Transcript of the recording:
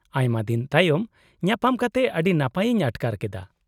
-ᱟᱭᱢᱟ ᱫᱤᱱ ᱛᱟᱭᱚᱢ ᱧᱟᱯᱟᱢ ᱠᱟᱛᱮ ᱟᱹᱰᱤ ᱱᱟᱯᱟᱭ ᱤᱧ ᱟᱴᱠᱟᱨ ᱠᱮᱫᱟ ᱾